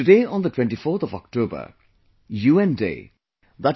today on 24th October, UN Day i